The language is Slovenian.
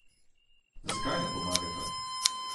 Zakaj ne pomagata?